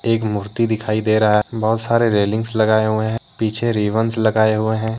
एक मूर्ति दिखाई दे रहा है। बहुत सारे रेलिंगस लगाए हुए हैं। पीछे रिवनस लगाए हुए हैं।